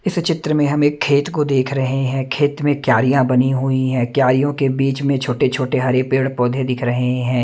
इस चित्र में हम एक खेत को देख रहे हैं खेत में क्यारियां बनी हुई है क्यारीयों के बीच में छोटे छोटे हरे पेड़ पौधे दिख रहे हैं।